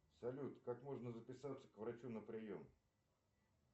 салют как можно записаться к врачу на прием